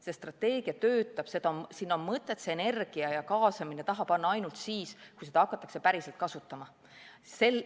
See strateegia töötab ja sinna on mõtet seda energiat ja kaasamist taha panna ainult siis, kui seda hakatakse päriselt kasutama.